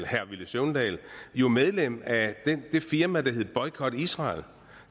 herre villy søvndal jo medlem af det firma der hedder boykot israel